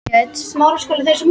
Innrás og andspyrna